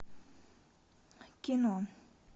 кино